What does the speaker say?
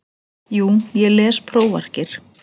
Jú ég les prófarkir.